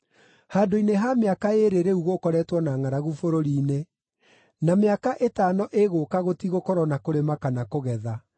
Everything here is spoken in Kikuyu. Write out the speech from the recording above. Handũ-inĩ ha mĩaka ĩĩrĩ rĩu gũkoretwo na ngʼaragu bũrũri-inĩ, na mĩaka ĩtano ĩgũũka gũtigũkorwo na kũrĩma kana kũgetha.